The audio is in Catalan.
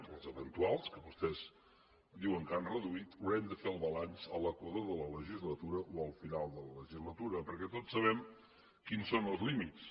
o els eventuals que vostès diuen que han reduït haurem de fer el balanç a l’equador de la legislatura o al final de la legislatura perquè tots sabem quins són els límits